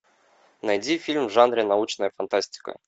найди фильм в жанре научная фантастика